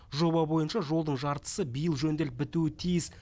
жоба бойынша жолдың жартысы биыл жөнделіп бітуі тиіс